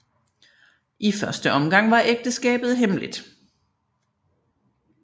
I første omgang var ægteskabet hemmeligt